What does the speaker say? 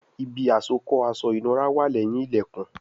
Ibi àsokọ́ aṣọ ìnura wà leyin ilẹkùn